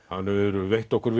hann hefur veitt okkur